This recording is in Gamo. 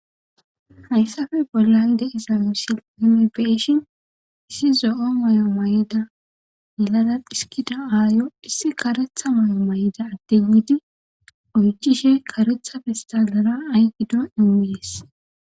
Hayssappe bollan de'iza misile nuni be'ishin issi zo'o mayo mayida milala dhiskida aayo issi karetha mayo mayida adde demmidi oychishe karetha pestalera ay gido immes.